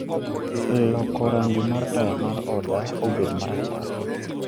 loko rangi mar taya mar oda obed marachar